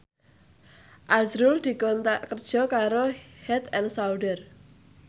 azrul dikontrak kerja karo Head and Shoulder